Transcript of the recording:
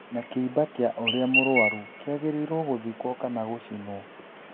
Na kĩimba kĩa ũria mũrũaru kĩagĩrĩorwo gũthikwo kana gũcinwo ?